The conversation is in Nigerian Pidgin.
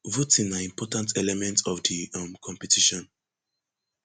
voting na important element of di um competition